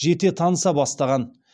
жете таныса бастаған